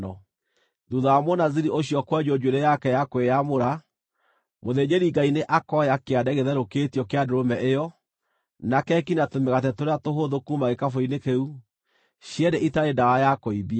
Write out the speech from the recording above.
“ ‘Thuutha wa Mũnaziri ũcio kwenjwo njuĩrĩ yake ya kwĩyamũra, mũthĩnjĩri-Ngai nĩ akoya kĩande gĩtherũkĩtio kĩa ndũrũme ĩyo, na keki na tũmĩgate tũrĩa tũhũthũ kuuma gĩkabũ-inĩ kĩu, cierĩ itarĩ ndawa ya kũimbia.